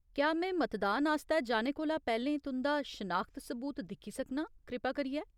क्या में मतदान आस्तै जाने कोला पैह्‌लें तुं'दा शनाखत सबूत दिक्खी सकनां, कृपा करियै ?